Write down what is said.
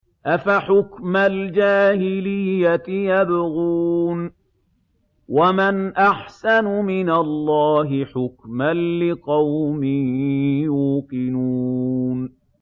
أَفَحُكْمَ الْجَاهِلِيَّةِ يَبْغُونَ ۚ وَمَنْ أَحْسَنُ مِنَ اللَّهِ حُكْمًا لِّقَوْمٍ يُوقِنُونَ